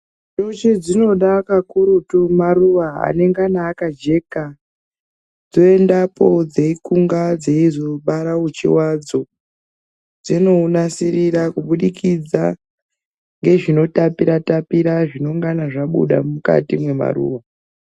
Nyuchi dzinoda kakurutu maruwa anongana akajeka toenda kunge dzeikunga dzeizobara uchi wadzo dzinounasirira kuburikidza nezvinotapira tapira zvinongana zvabuda mukati memaruwa.